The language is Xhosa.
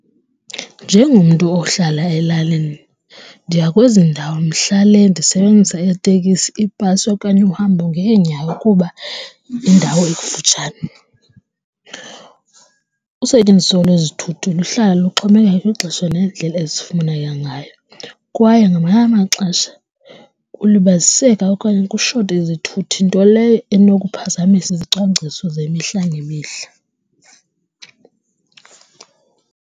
Njengomntu ohlala elalini, ndiya kwezi ndawo mhla le ndisebenzisa iitekisi, ibhasi okanye uhambo ngeenyawo kuba indawo ekufutshane. Usetyenziso lwezithuthi luhlala luxhomekeka kwixesha nendlela ezifumeneyo ngayo kwaye ngamanye amaxesha kulibaziseka okanye kushote izithuthi nto leyo enokuphazamiseka izicwangciso zemihla ngemihla.